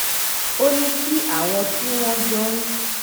ó ní kí àwọn tí wón jọ ń